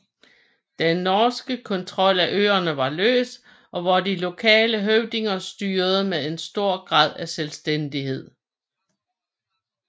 Den norske kontrol af øerne var løs og hvor de lokale høvdinger styrede med en stor grad af selvstændighed